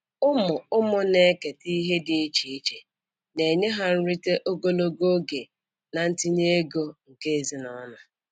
Ụmụ ụmụ na-eketa ihe dị iche iche, na-enye ha nrite ogologo oge na ntinye ego nke ezinụlọ ha.